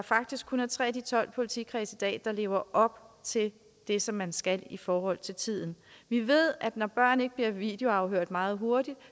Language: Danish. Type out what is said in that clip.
faktisk kun er tre af de tolv politikredse der i dag lever op til det som man skal i forhold til tiden vi ved at når børn ikke bliver videoafhørt meget hurtigt